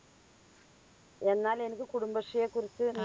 എന്നാൽ എനിക്ക് കുടുംബശ്രീയെക്കുറിച്ച്